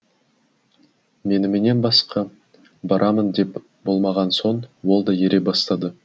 меніменен басқа барамын деп болмаған соң ол да ере бастады